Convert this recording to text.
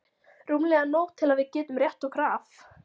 Rúmlega nóg til að við getum rétt okkur af.